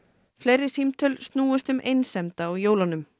fleiri símtöl snúist um einsemd á jólunum